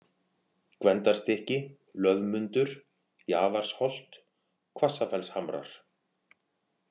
Gvendarstykki, Löðmundur, Jaðarsholt, Hvassafellshamrar